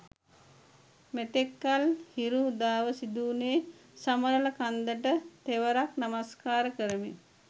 මෙතෙක්කල් හිරු උදාව සිදුවුණේ සමනල කන්දට තෙවරක් නමස්කාර කරමින්.